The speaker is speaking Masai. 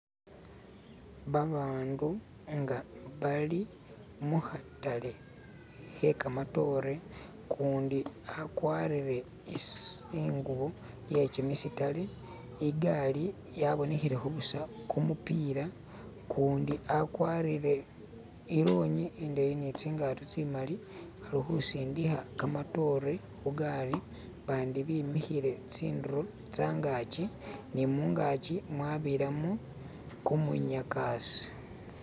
Babandu nga bali mukhatale khe kamatore ukundi akwarire ingubo ye kimisitare, igali yabonekhele kho busa kumupila ukundi akwarire ilongi indeyi netsingato tsimali khulikhusindikha kamatore khugali, bandi bemikhile khungaki ne mungaki mwabiramo kumunyakasa.